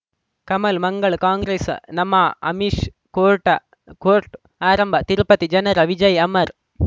ಕಮಲ್ ಮಂಗಳ್ ಕಾಂಗ್ರೆಸ್ ನಮಃ ಅಮಿಷ್ ಕೋರ್ಟಾ ಕೋರ್ಟ್ಆರಂಭ ತಿರುಪತಿ ಜನರ ವಿಜಯ ಅಮರ್